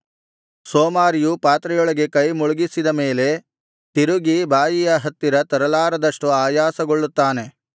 ಸೋಮಾರಿಯು ಪಾತ್ರೆಯೊಳಗೆ ಕೈ ಮುಳುಗಿಸಿದ ಮೇಲೆ ತಿರುಗಿ ಬಾಯಿಯ ಹತ್ತಿರ ತರಲಾರದಷ್ಟು ಆಯಾಸಗೊಳ್ಳುತ್ತಾನೆ